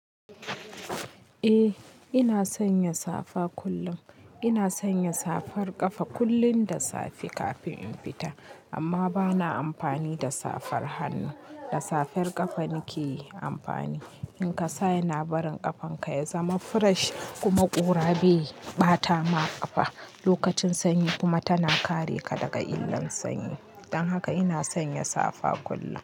Eh, ina sanya safa kullum. Ina sanya safar ƙafa kullum da safe kafin in fita, amma bana amfani da safar hannu. Da safar ƙafa nake yi amfani. In kasaya na barin ƙafanka ya zama fresh kuma ƙura bai ɓata ma ƙafa. Lokacin sanyi kuma tana kare ka daga illar sanyi. Don haka ina sanya safa kullum.